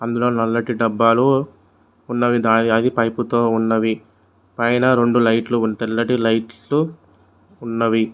ఇందులో నల్లటి డబ్బాలు ఉన్నవి దాని అవి పైప్ తో ఉన్నవి పైన రెండు లైట్లు ఉన్న తెల్లటి లైట్లు ఉన్నవి.